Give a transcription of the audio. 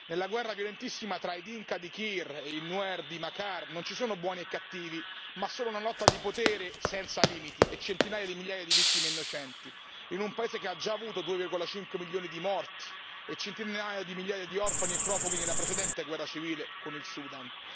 Nella guerra violentissima tra i Dinka di Kiir e i Nuer di Machar non ci sono buoni e cattivi, ma solo una lotta di potere senza limiti e centinaia di migliaia di vittime innocenti, in un paese che ha già avuto 2,5 milioni di morti e centinaia di migliaia di orfani e profughi nella precedente guerra civile con il Sudan.